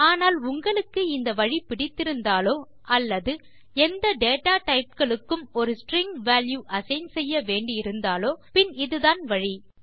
ஆனால் உங்களுக்கு இந்த வழி பிடித்திருந்தாலோ அல்லது எந்த டேட்டா டைப் களுக்கும் ஒரு ஸ்ட்ரிங் வால்யூ அசைன் செய்ய வேண்டி இருந்தாலோ பின் இதுதான் வழி